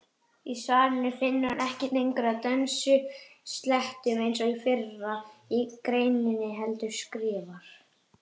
Í svarinu finnur hann ekki lengur að dönskuslettum eins og í fyrri greininni heldur skrifar: